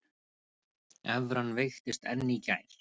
Evran veiktist enn í gær